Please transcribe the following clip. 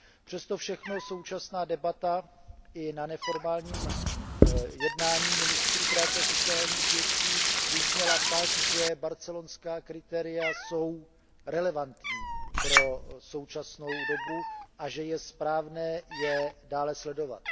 Přesto všechno současná debata i na neformálním jednání ministrů práce a sociálních věcí vyzněla tak, že barcelonská kritéria jsou relevantní pro současnou dobu a že je správné je dále sledovat.